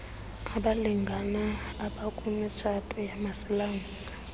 abalngane abakumtshato wamasilamsi